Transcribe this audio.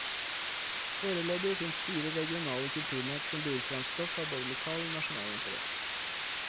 Foreløpig fins fire regionale kulturnett, som byr fram stoff av både lokal og nasjonal interesse.